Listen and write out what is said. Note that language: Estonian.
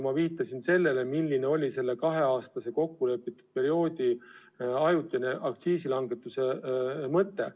Ma viitasin sellele, milline oli kaheaastase kokkulepitud perioodi ajutine aktsiisilangetuse mõte.